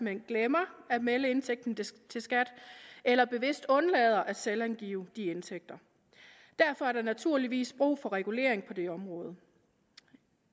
hen glemmer at melde indtægten til skat eller bevidst undlader at selvangive de indtægter derfor er der naturligvis brug for regulering på det område